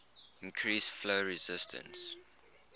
increase flow resistance